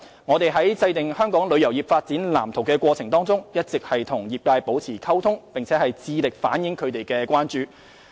我們在制訂《香港旅遊業發展藍圖》的過程中，一直與業界保持溝通，並致力回應他們的關注。